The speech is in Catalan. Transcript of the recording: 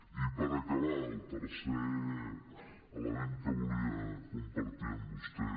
i per acabar el tercer element que volia compartir amb vostè